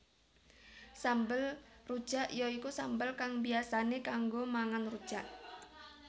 Sambel rujak ya iku sambel kang biyasané kanggo mangan rujak